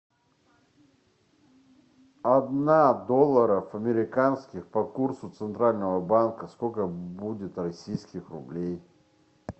одна долларов американских по курсу центрального банка сколько будет российских рублей